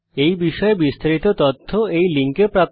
এই বিষয়ে বিস্তারিত তথ্য এই লিঙ্কে প্রাপ্তিসাধ্য